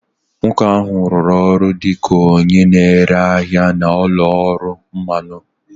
Nwoke ahụ rụrụ ọrụ dị ka onye na-ere ahịa na ụlọ ọrụ mmanụ